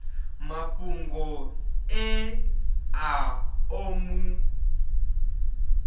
mafhungo ane a ḓo mu